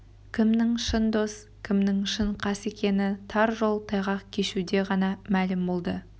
кімнің шын дос кімнің шын қас екені тар жол тайғақ кешуде ғана мәлім болды